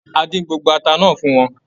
A dín gbogbo ata náà fún wọn.